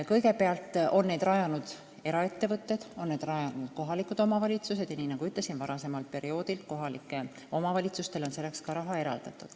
Kõigepealt on neid rajanud eraettevõtted, samuti kohalikud omavalitsused ja, nii nagu ütlesin, varasemal perioodil on kohalikele omavalitsustele selleks ka raha eraldatud.